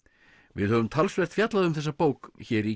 við höfum talsvert fjallað um þessa bók hér í